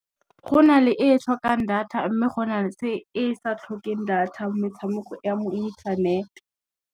Go na le e tlhokang data mme go na le e sa tlhokeng data metshameko ya mo internet.